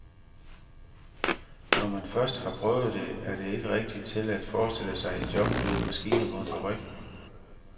Når man først har prøvet det, er det ikke rigtig til at forestille sig et job ved en maskine på en fabrik.